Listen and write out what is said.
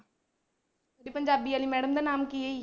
ਤੇ ਪੰਜਾਬੀ ਵਾਲੀ madam ਦਾ ਨਾਮ ਕੀ ਆ।